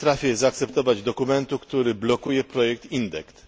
Nie potrafię zaakceptować dokumentu, który blokuje projekt Indect.